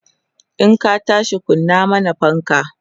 in ka tashi kunna mana fanka!